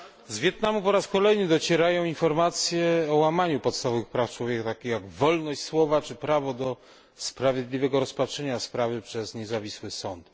Z Wietnamu po raz kolejny docierają informacje o łamaniu podstawowych praw człowieka takich jak wolność słowa czy prawo do sprawiedliwego rozpatrzenia sprawy przez niezawisły sąd.